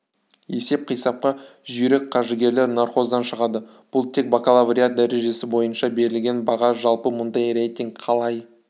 есеп-қисапқа жүйрік қаржыгерлер нархоздан шығады бұл тек бакалавриат дәрежесі бойынша берілген баға жалпы мұндай рейтинг қалай